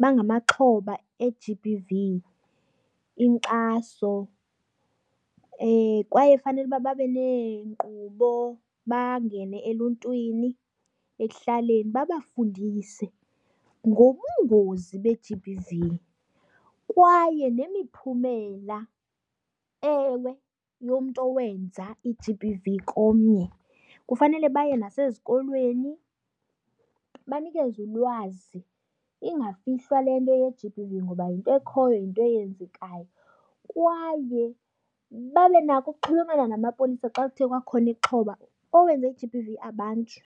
bangamaxhoba e-G_B_V inkxaso. Kwaye fanele uba babe neenkqubo bangene eluntwini, ekuhlaleni, babafundise ngobungozi be-G_B_V kwaye nemiphumela ewe yomntu owenza i-G_B_V komnye. Kufanele baye nasezikolweni banikeze ulwazi, ingafihlwa le nto ye-G_B_V ngoba yinto ekhoyo, yinto eyenzekayo. Kwaye babe nako ukuxhulumana namapolisa xa kuthe kwakhona ixhoba, owenze i-G_B_V abanjwe.